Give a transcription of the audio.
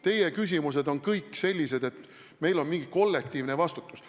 Teie küsimused on kõik sellised, nagu meil oleks mingi kollektiivne vastutus.